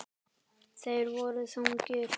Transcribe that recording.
Þeir voru þungir.